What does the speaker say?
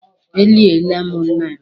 E liela mụ nna m.